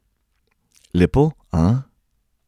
Lepo, a?